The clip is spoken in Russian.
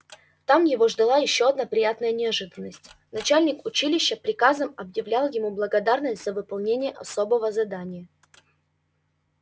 там его ждала ещё одна приятная неожиданность начальник училища приказом объявлял ему благодарность за выполнение особого задания